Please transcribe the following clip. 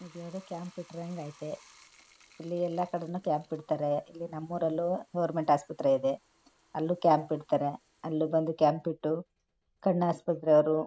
ಇದ್ಯಾವುದೋ camp ಇಟ್ಟೀರಂಗೆ ಐತೆ ಇಲ್ಲಿ ಎಲ್ಲಾ ಕಡೆನೂ ಕ್ಯಾಂಪ್ ಇಡ್ತಾರೆ ಇಲ್ಲಿ ನಮ್ಮೂರಲ್ಲೂ ಗೋರ್ಮೆಂಟ್ ಆಸ್ಪತ್ರೆ ಇದೆ ಅಲ್ಲೂ ಕ್ಯಾಂಪ್ ಇರ್ತಾರೆ ಅಲ್ಲಿ ಬಂದು ಕ್ಯಾಂಪ್ ಇಟ್ಟು ಕಣ್ಣು ಆಸ್ಪತ್ರೆಯವರು--